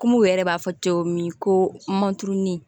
Kɔmi u yɛrɛ b'a fɔ cogo min ko manturunin